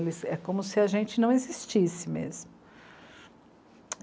É como se a gente não existisse mesmo.